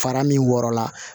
Fara min wɔrɔ la